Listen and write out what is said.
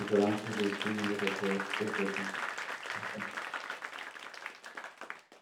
insoraansii riiskii handa tokko irsoo keessa dumeta